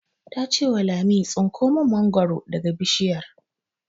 Ta ce wa Lami 'Tsinko mun mangoro daga bishiyar'!